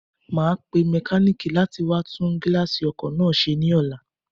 Màá pe mékáníìkì látí wá tún gíláàsì ọkò náà se ní ọlá